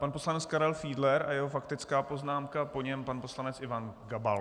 Pan poslanec Karel Fiedler a jeho faktická poznámka, po něm pan poslanec Ivan Gabal.